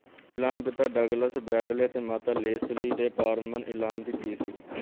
ਇਲਾਮ ਪਿਤਾ Douglas Bradley ਅਤੇ ਮਾਤਾ ਲੇਸਲੀ ਜੇ ਪਾਰਮਨ ਇਲਾਮ ਦੀ ਧੀ ਸੀ